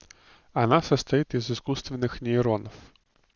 она состоит из искусственных нейронов